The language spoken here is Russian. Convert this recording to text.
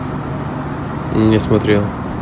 не смотрел